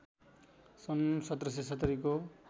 सन् १७७० को